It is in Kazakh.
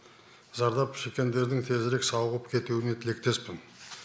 зардап шеккендердің тезірек сауығып кетуіне тілектеспін